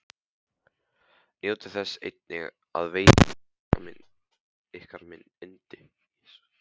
Njótið þess einnig að veita maka ykkar yndi.